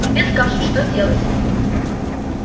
тебе скажут что делать